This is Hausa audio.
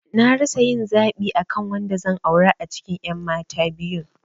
Na rasa yin zaɓi akan wanda zan aura a cikin ƴan mata biyun